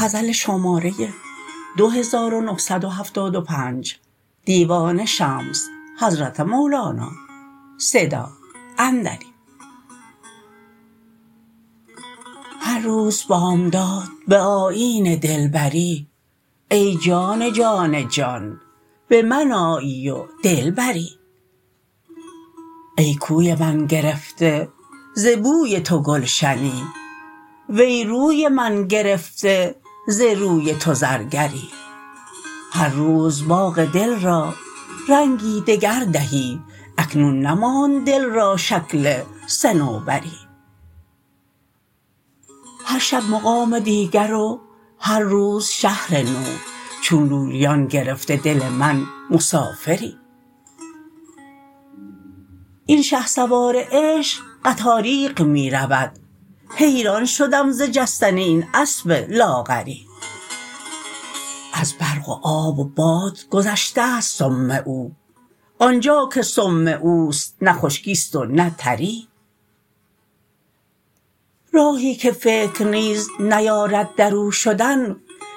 هر روز بامداد به آیین دلبری ای جان جان جان به من آیی و دل بری ای کوی من گرفته ز بوی تو گلشنی وی روی من گرفته ز روی تو زرگری هر روز باغ دل را رنگی دگر دهی اکنون نماند دل را شکل صنوبری هر شب مقام دیگر و هر روز شهر نو چون لولیان گرفته دل من مسافری این شهسوار عشق قطاریق می رود حیران شدم ز جستن این اسب لاغری از برق و آب و باد گذشته ست سم او آن جا که سم او است نه خشکی است و نه تری راهی که فکر نیز نیارد در او شدن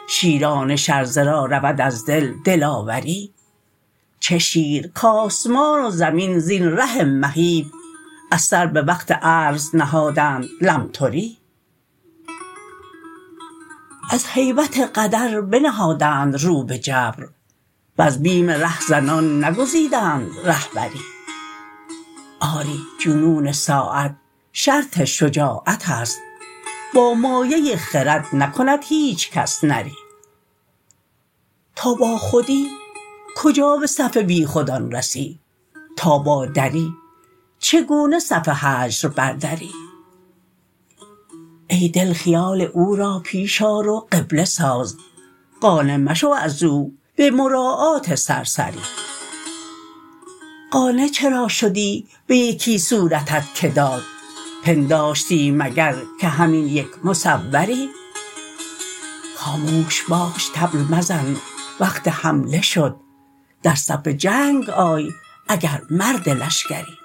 شیران شرزه را رود از دل دلاوری چه شیر کآسمان و زمین زین ره مهیب از سر به وقت عرض نهادند لمتری از هیبت قدر بنهادند رو به جبر وز بیم رهزنان نگزیدند رهبری آری جنون ساعه شرط شجاعت است با مایه خرد نکند هیچ کس نری تا باخودی کجا به صف بیخودان رسی تا بر دری چگونه صف هجر بردری ای دل خیال او را پیش آر و قبله ساز قانع مشو از او به مراعات سرسری قانع چرا شدی به یکی صورتت که داد پنداشتی مگر که همین یک مصوری خاموش باش طبل مزن وقت حمله شد در صف جنگ آی اگر مرد لشکری